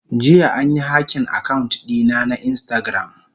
Jiya an yi hacking account dina na instagram.